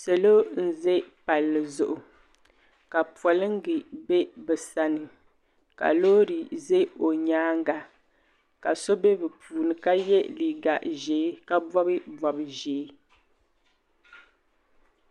salo n-ʒe palli zuɣu ka polingi be bɛ sani ka loori ʒe o nyaaga ka so be bɛ puuni ka ye liiga ʒee ka bɔbi bɔb' ʒee.